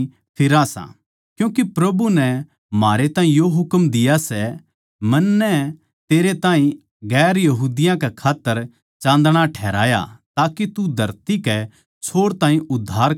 क्यूँके प्रभु नै म्हारै ताहीं यो हुकम दिया सै मन्नै तेरै ताहीं दुसरी जात्तां कै खात्तर चाँदणा ठहराया ताके तू धरती कै छोर ताहीं उद्धार का दरबाजा हो